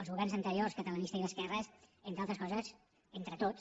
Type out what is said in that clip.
els governs anteriors catalanistes i d’esquerres entre altres coses entre tots